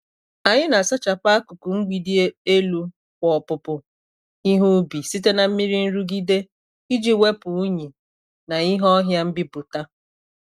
Anyị na-asachapu akụkụ mgbidi elu kwa opupu ihe ubi site na mmiri nrụgide, iji wepu unyi na ìhè ọhịa mbipụta.